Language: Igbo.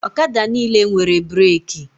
Ọkada niile nwere breki